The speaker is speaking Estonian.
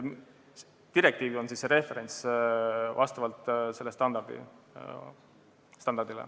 Direktiiv on see referents vastavalt sellele standardile.